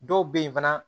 Dɔw bɛ yen fana